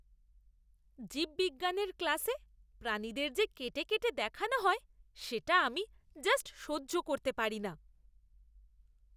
জীববিজ্ঞানের ক্লাসে প্রাণীদের যে কেটে কেটে দেখানো হয় সেটা আমি জাস্ট সহ্য করতে পারি না!